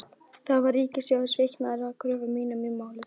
Þar var ríkissjóður sýknaður af kröfum mínum í máli þessu.